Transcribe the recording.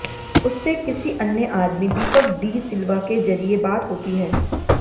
उससे किसी अन्य आदमी दीपक डी सिल्वा के जरिये बात होती है